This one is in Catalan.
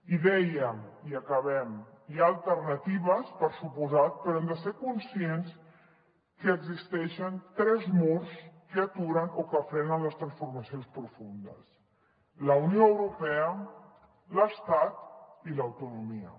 i dèiem i acabem hi ha alternatives per descomptat però hem de ser conscients que existeixen tres murs que aturen o que frenen les transformacions profundes la unió europea l’estat i l’autonomia